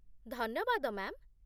ଧନ୍ୟବାଦ, ମ୍ୟା'ମ୍ ।